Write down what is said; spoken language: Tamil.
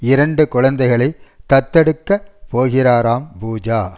இரண்டு குழந்தைகளை தத்தெடுக்க போகிறாராம் பூஜா